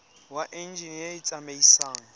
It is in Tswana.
wa enjine e e tsamaisang